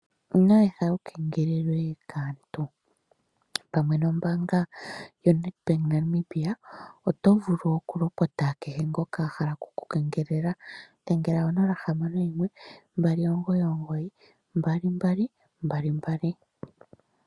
Ino etha wu kengelelwe kaantu. Pamwe nombaanga yoFNB oto vulu okulopota kehe ngoka a hala oku ku kengelela. Dhengela 061 2992222.